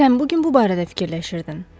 Sən bu gün bu barədə fikirləşirdin.